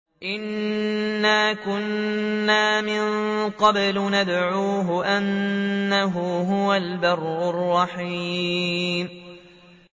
إِنَّا كُنَّا مِن قَبْلُ نَدْعُوهُ ۖ إِنَّهُ هُوَ الْبَرُّ الرَّحِيمُ